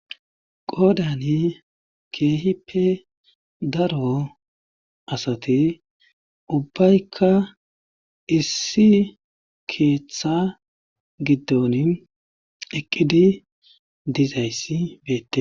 Qoodani keehippe daro asati ubbaykka issi keeththa giddon eqqidi dizayssi beette